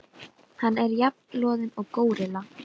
Hann er jafn loðinn og górilla.